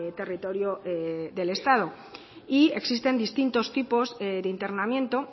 territorio del estado y existen distintos tipos de internamiento